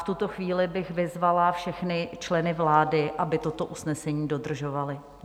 V tuto chvíli bych vyzvala všechny členy vlády, aby toto usnesení dodržovali.